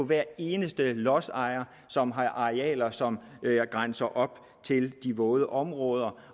hver eneste lodsejer som har arealer som grænser op til de våde områder